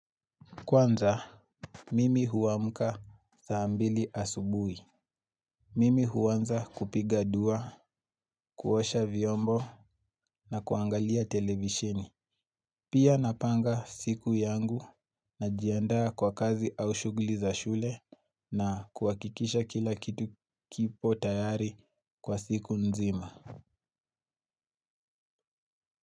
Kwanza, mimi huamuka saambili asubui. Mimi huanza kupiga dua, kuosha vyombo na kuangalia televishini. Pia napanga siku yangu najiandaa kwa kazi au shughli za shule na kuhakikisha kila kitu kipo tayari kwa siku nzima.